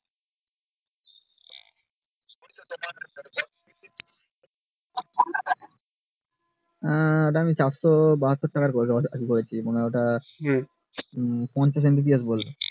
আহ ওটা আমি চারশো বাহাতুর টাকার করেছি মানে ওটা পঞ্চাশ Mbps বোলো